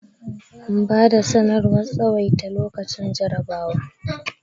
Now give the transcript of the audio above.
an bada sanarwar tsawaita lokacin jarrabawa